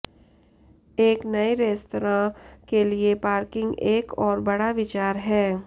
एक नए रेस्तरां के लिए पार्किंग एक और बड़ा विचार है